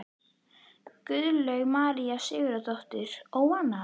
Guðlaug María Sigurðardóttir: Óánægjan?